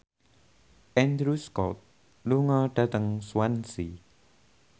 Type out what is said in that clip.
Andrew Scott lunga dhateng Swansea